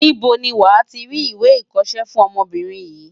Níbo ni wàá ti rí ìwé ìkọṣẹ́ fún ọmọbìnrin yìí?